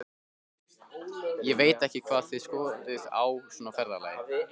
Ég veit ekki hvað þið skoðið á svona ferðalagi.